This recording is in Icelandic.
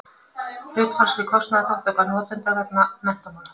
hlutfallsleg kostnaðarþátttaka notenda vegna menntamála